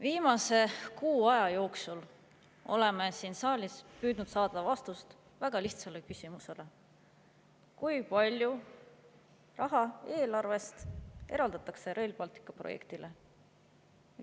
Viimase kuu aja jooksul oleme siin saalis püüdnud saada vastust väga lihtsale küsimusele: kui palju raha eraldatakse eelarvest Rail Balticu projektile?